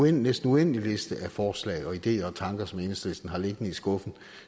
en næsten uendelig liste af forslag ideer og tanker som enhedslisten har liggende i skuffen og